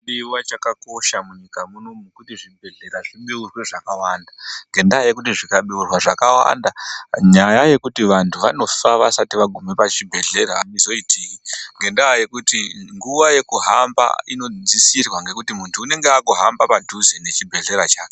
Chinodiwa chakakosha munyika muno kuti zvibhehlera zvibeurwe zvakawanda ,ngendaa yekuti zvikabeurwa zvakawanda nyaya yekuti vanthu vanofa vasati vasvika pachibhehleya aizoiti ngendaa yekuti nguwa yekuhamba inidzikisirwa ngekuti munthu unenge akuhamba padhuze nechibhehlera chake.